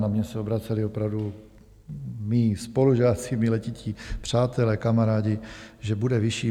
Na mě se obraceli opravdu mí spolužáci, mi letití přátelé, kamarádi, že bude vyšší.